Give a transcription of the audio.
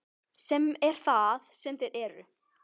Sem er það sem þeir eru.